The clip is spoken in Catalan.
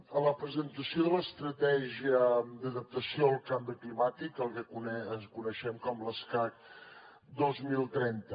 a la presentació de l’estratègia d’adaptació al canvi climàtic el que coneixem com l’escacc dos mil trenta